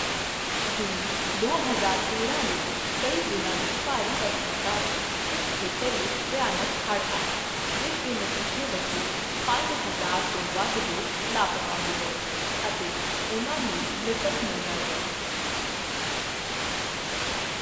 ਜੂਨ ਦੋ ਹਜ਼ਾਰ ਤੇਰਾਂ ਵਿੱਚ ਕਈ ਦਿਨਾਂ ਦੀ ਭਾਰੀ ਵਰਖਾ ਕਾਰਨ ਇਸ ਖੇਤਰ ਵਿੱਚ ਭਿਆਨਕ ਹੜ੍ਹ ਆਏ, ਜਿਸ ਦੇ ਨਤੀਜੇ ਵਜੋਂ ਪੰਜ ਹਜ਼ਾਰ ਤੋਂ ਵੱਧ ਲੋਕ ਲਾਪਤਾ ਹੋ ਗਏ ਅਤੇ ਉਹਨਾਂ ਨੂੰ ਮ੍ਰਿਤਕ ਮੰਨਿਆ ਗਿਆ।